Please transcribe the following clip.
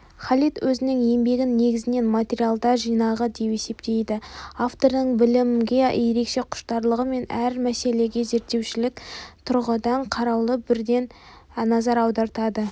халид өзінің еңбегін негізінен материалдар жинағы деп есептейді автордың білімге ерекше құштарлығы мен әр мәселеге зерттеушілік тұрғыдан қараулы бірден назар аудартады